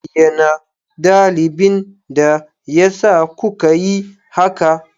Bayyana dalilin da yasa kuka yi haka!